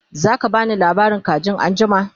zaka bani labarin kajin anjima?